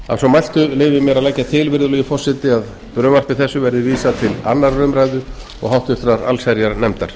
að svo mæltu leyfi ég mér að leggja til virðulegi forseti að frumvarpi þessu verði vísað til annarrar umræðu og háttvirtrar allsherjarnefndar